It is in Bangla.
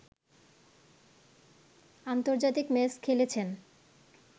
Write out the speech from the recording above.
আন্তর্জাতিক ম্যাচ খেলেছেন।